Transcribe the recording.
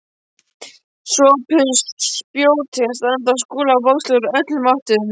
SOPHUS: Spjótin standa á Skúla bókstaflega úr öllum áttum.